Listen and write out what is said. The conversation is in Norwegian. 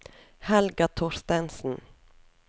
Helga Thorstensen